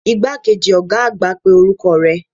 Igbakeji oga agba pe oruko re